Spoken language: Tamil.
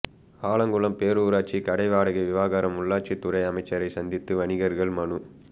ஆலங்குளம் பேரூராட்சி கடை வாடகை விவகாரம் உள்ளாட்சித்துறை அமைச்சரை சந்தித்து வணிகர்கள் மனு